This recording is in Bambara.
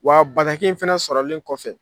Wa bataki in fɛnɛ sɔrɔlen kɔfɛ